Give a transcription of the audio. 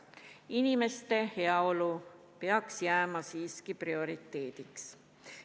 Inimeste heaolu peaks jääma siiski prioriteediks.